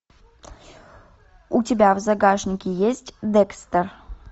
у тебя в загашнике есть декстер